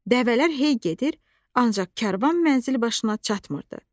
Dəvələr hey gedir, ancaq karvan mənzilbaşına çatmırdı.